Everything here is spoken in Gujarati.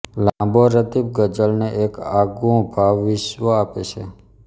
લાંબો રદીફ ગઝલને એક આગવું ભાવવિશ્વ આપે છે